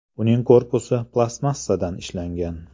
Uning korpusi plastmassadan ishlangan.